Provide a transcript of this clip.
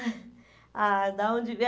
Ah, de onde vem?